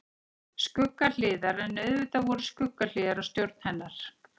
Skuggahliðar En auðvitað voru skuggahliðar á stjórn hennar.